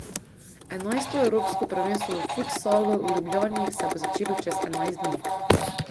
Enajsto evropsko prvenstvu v futsalu v Ljubljani se bo začelo čez enajst dni.